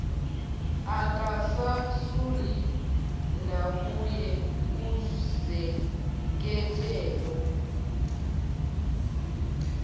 akazesuli nakuye uzekhethelo